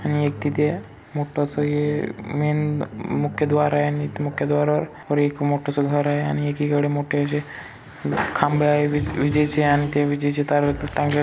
आणि तिथे मोठसा ये मेन मुख्य द्वार आहे आणि मुख्य द्वार वर आणि एक मोठसा घर आहे आणि एकी कडे जे मोठेसे असे खंबे आहे विजेचे आणि विजेची तार टांगत--